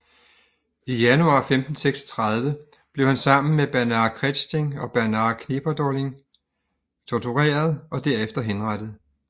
I januar 1536 blev han sammen med Bernhard Krechting og Bernhard Knipperdolling tortureret og derefter henrettet